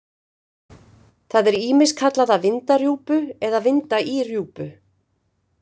Það er ýmist kallað að vinda rjúpu eða vinda í rjúpu.